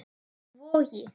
Í Vogi.